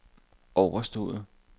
overstået